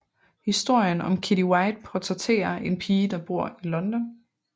Historien om Kitty White portræterer en pige der bor i London